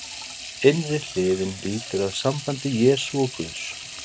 innri hliðin lýtur að sambandi jesú og guðs